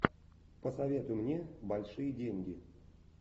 посоветуй мне большие деньги